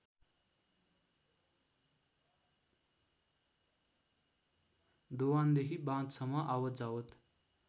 दोभानदेखि बाँधसम्म आवतजावत